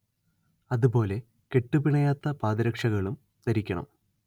അതു പോലെ കെട്ടു പിണയാത്ത പാദരക്ഷകളും ധരിക്കണം